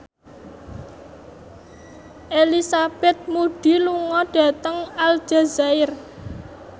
Elizabeth Moody lunga dhateng Aljazair